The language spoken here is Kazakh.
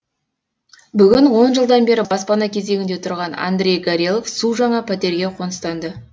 бүгін он жылдан бері баспана кезегінде тұрған андрей горелов су жаңа пәтерге қоныстанды